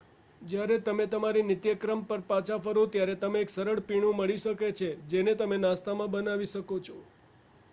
જ્યારે તમે તમારી નિત્યક્રમ પર પાછા ફરો ત્યારે તમને એક સરળ પીણું મળી શકે છે જેને તમે નાસ્તામાં બનાવી શકો છો